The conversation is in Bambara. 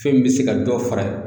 Fɛn min be se ka dɔ fara